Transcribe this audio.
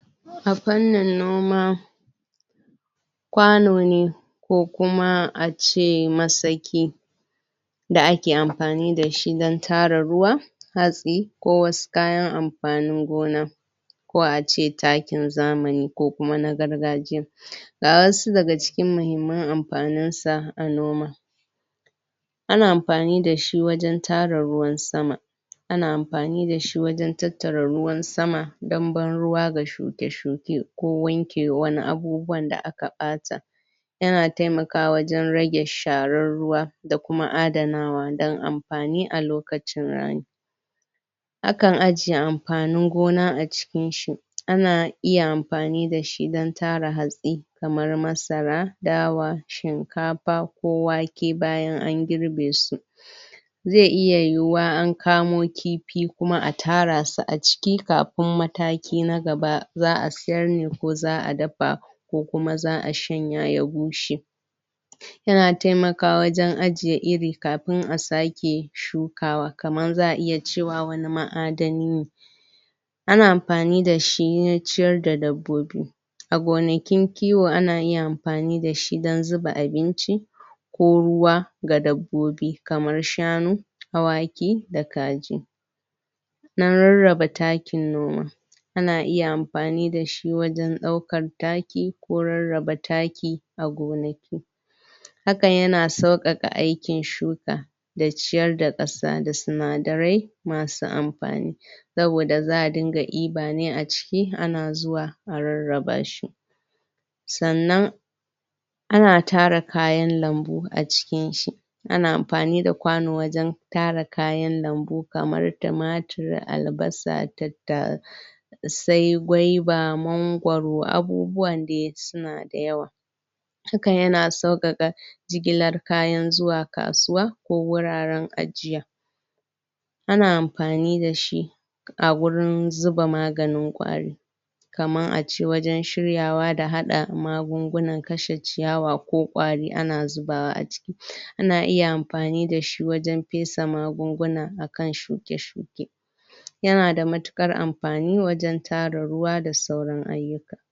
A fannin noma kwano ne ko kuma ace masaki da ake amfani dashi wajen tara ruwa hatsi ko wasu kayan amfanin gona ko ace takin zamani ko kuma na gargajiya ga wasu daga cikin mahimmanamfanin sa a noma ana amfani dashi wajen tara ruwan sama ana amfani dashi wajen tattara ruwan sama don ban ruwa ga shuke shuke ko wanke wani abubuwan da aka bata yana taimakawa wajen rage sharar ruwa da kuma adanawa da amfani a lokacin rani akan aje amfanin gona a cikin shi ana iya amfani da shi don tara hatsi kamar masara dawa shinkafa ko wake bayan an girbe su zai iya yiwuwa an kamo kifi kuma a tara su a ciki kafin mataki na gaba za'a sayarne ko za'a dafa ko kuma za'a shanya ya bushe yana taimakawa wajen ajiye iri kafin a sake shukawa kamar za'a iya cewa wannan ma'adani ne ana amfani da shi wajen ciyar da dabbobi a gonakin kiwo ana iya amfani dashi don zuba abincinci ko ruwa ga dabbobi kamar shanu, awaki da kaji na rarraba takin noma ana iya amfani da shi wajen daukar taki ko rarraba taki a gona hakan yana saukaka aaikin shuka da ciyar da kasa da sinadarai masu amfani saboda za'a dinga diba ne aci ana zuwa ana rarraba shi sannan ana tara kayan lambu a cikin shi ana amfani da kwano wajen tara kayan lambu kamar tumatur albasa tattasai tattsai gwaba, mangwaro abubuwan dai suna da yawa duka yana saukaka jigilar kayan zuwa kasuwa ko wuraren ajiya ana amfani dashi a gurin zuba maganin kwari kaman ace wajen shiryawa da hada magungunan kashe ciyawa ko kwari ana zubawa a ciki ana iya amfani dashi wajen pesa magunguna akan shuke shuke yana da matukar amfani wajen tara ruwa da sauran ayuka